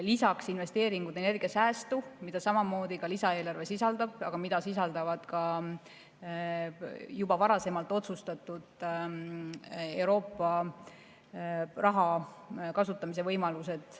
Lisaks investeeringud energiasäästu, mida samamoodi ka lisaeelarve sisaldab, aga mida sisaldavad ka juba varasemalt otsustatud Euroopa raha kasutamise võimalused.